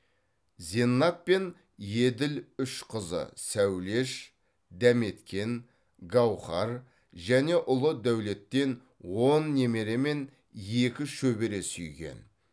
зеннат пен еділ үш қызы сәулеш дәметкен гауһар және ұлы дәулеттен он немере мен екі шөбере сүйген